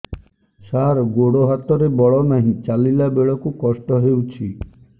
ସାର ଗୋଡୋ ହାତରେ ବଳ ନାହିଁ ଚାଲିଲା ବେଳକୁ କଷ୍ଟ ହେଉଛି